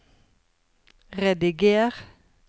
rediger